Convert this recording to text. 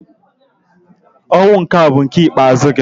Ọnwụ nke a bụ nke ikpeazụ gị!